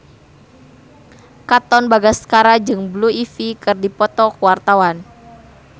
Katon Bagaskara jeung Blue Ivy keur dipoto ku wartawan